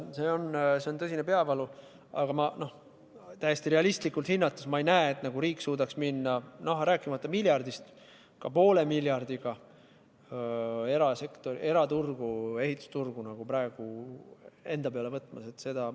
See on tõsine peavalu, aga täiesti realistlikult hinnates ma ei näe, et riik suudaks praegu minna kas või poole miljardiga – rääkimata miljardist eurost – ehitusturgu enda kanda võtma.